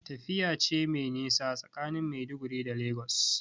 Tafiya ce mai nisa tsakanin Maiduguri da Lagos.